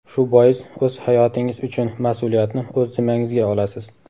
Shu bois o‘z hayotingiz uchun mas’uliyatni o‘z zimmangizga olasiz.